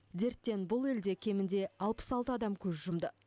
дерттен бұл елде кемінде алпыс алты адам көз жұмды